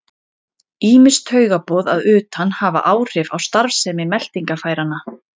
Ýmis taugaboð að utan hafa áhrif á starfsemi meltingarfæranna.